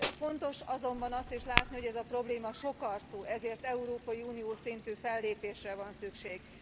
Fontos azonban azt is látni, hogy ez a probléma sokarcú, ezért európai uniós szintű fellépésre van szükség.